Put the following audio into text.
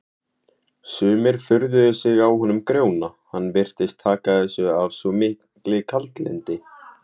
Sumir furðuðu sig á honum Grjóna, hann virtist taka þessu af svo miklu kaldlyndi.